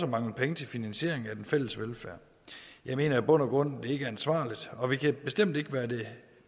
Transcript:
mangle penge til finansiering af den fælles velfærd jeg mener i bund og grund ikke ansvarligt og vi kan bestemt ikke være det